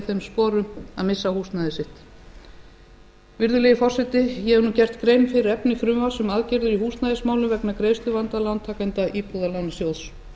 þeim sporum að missa húsnæði sitt virðulegi forseti ég hef nú gert grein fyrir efni frumvarps um aðgerðir í húsnæðismálum vegna greiðsluvanda lántakenda íbúðalánasjóðs